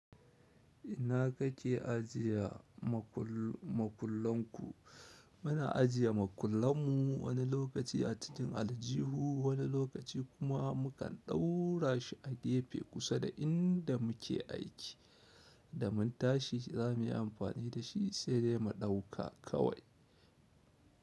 Ina kake ajiye makullinku? Muna ajiye makullanmu wani lokaci a cikin aljihu, wani lokaci kuma mukan ɗaura shi a gefe kusa da inda muke aiki. Da mun tashi za mu yi amfani da shi, sai dai mu ɗauka kawai.